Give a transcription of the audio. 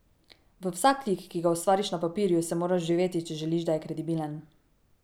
V vsak lik, ki ga ustvariš na papirju, se moraš vživeti, če želiš, da je kredibilen.